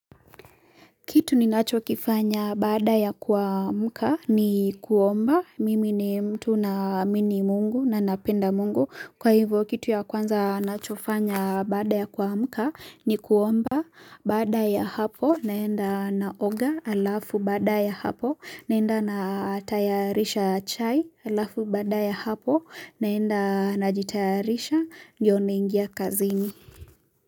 Kitu ninacho kifanya baada ya kuamka ni kuomba, mimi ni mtu naamini Mungu na ninapenda Mungu, kwa hivyo kitu ya kwanza ninachofanya baada ya kuamka ni kuomba Baada ya hapo naenda naoga halafu baada ya hapo naenda natayarisha chai alafu baada ya hapo naenda najitayarisha ndiyo naingia kazini.